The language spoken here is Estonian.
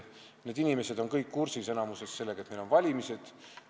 Need inimesed on enamikus kõik kursis sellega, et meil on valimised.